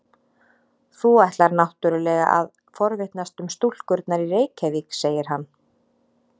Þú ætlar náttúrlega að forvitnast um stúlkurnar í Reykjavík, segir hann.